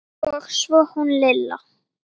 Og svo hún Lilla.